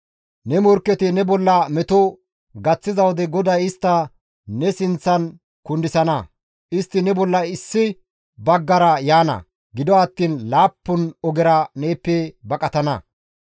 Ne morkketi ne bolla meto gaththiza wode GODAY istta ne sinththan kundisana; istti ne bolla issi baggara yaana; gido attiin laappun ogera neeppe baqatana.